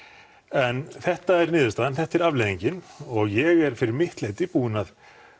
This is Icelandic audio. en þetta er niðurstaðan þetta er afleiðingin og ég er fyrir mitt leyti búinn að